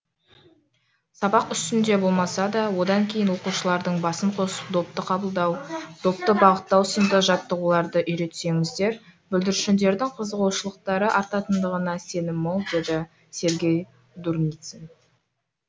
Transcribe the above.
сабақ үстінде болмаса да одан кейін оқушылардың басын қосып допты қабылдау допты бағыттау сынды жаттығуларды үйретсеңіздер бүлдіршіндердің қызығушылықтары артатындығына сенім мол деді сергей дурницын